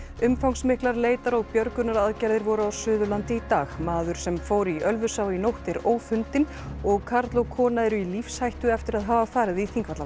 umfangsmiklar leitar og björgunaraðgerðir voru á Suðurlandi í dag maður sem fór í Ölfusá í nótt er ófundinn og karl og kona eru í lífshættu eftir að hafa farið í Þingvallavatn